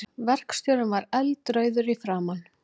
Verkstjórinn var eldrauður í framan.